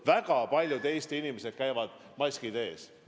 Väga paljud Eesti inimesed käivad, maskid ees.